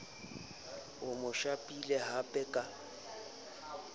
a mo shapileng hamper ka